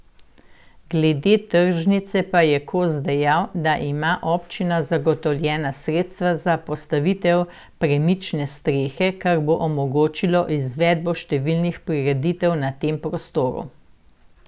Glede tržnice pa je Kos dejal, da ima občina zagotovljena sredstva za postavitev premične strehe, kar bo omogočilo izvedbo številnih prireditev na tem prostoru.